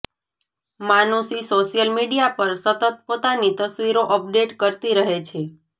Manushi social media પર સતત પોતાની તસવીરો અપડેટ કરતી રહે છે